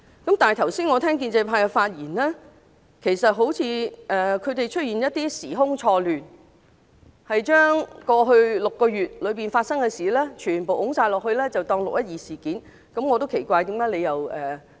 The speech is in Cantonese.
我剛才聽到建制派議員的發言，他們好像時空錯亂般，將過去6個多月發生的事情全部算入"六一二"事件的範圍。